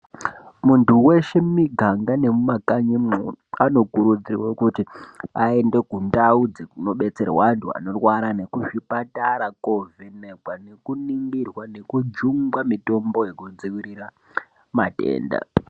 Muntu weshe mumuganga mumakanyi mwo anokurudzirwa kuti aende kundau dzirinodetsera vantu vanorwara nekuzvipatara kuno vhenekwa neku ningirwa nekujungwa mitombo yekudzivirira matenda.